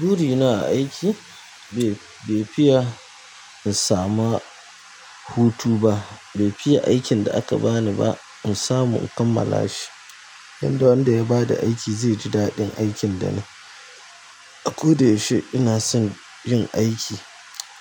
Burina a aiki be, bai fi ya in samu hutu ba, bai fi aikin da aka bani ba in samu in kammala shi. Yanda wanda ya bada aiki zai ji daɗin aikin da na yi. A ko da yaushe ina son yin aiki